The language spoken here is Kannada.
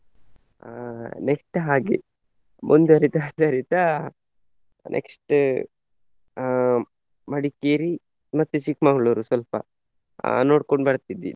ಅಹ್ next ಹಾಗೆ ಮುಂದುವರಿದ next ಅಹ್ ಮಡಿಕೇರಿ ಮತ್ತೆ ಚಿಕ್ಕ್ಮಂಗ್ಳೂರ್ ಸ್ವಲ್ಪ ಅಹ್ ನೋಡ್ಕೊಂಡು ಬರ್ತಿದ್ವಿ.